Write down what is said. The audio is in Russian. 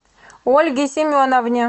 ольге семеновне